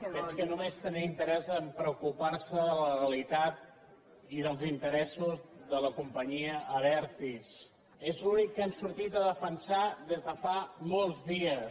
veig que només tenen interès a preocupar se de la legalitat i dels interessos de la companyia abertis és l’únic que han sortit a defensar des de fa molts dies